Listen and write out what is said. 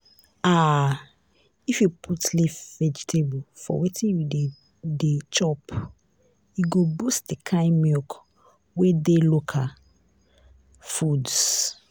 ah if you put leaf vegetable for wetin you dey dey chop e go boost di kind milk wey dey local foods